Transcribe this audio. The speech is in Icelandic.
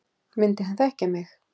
Myndi hann þekkja mig?